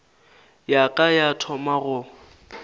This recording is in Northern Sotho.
ya ka ya thoma go